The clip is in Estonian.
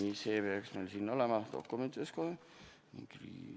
Nii, see peaks meil siin dokumentides olemas olema.